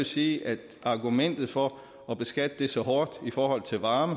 sige at argumentet for at beskatte el så hårdt i forhold til varme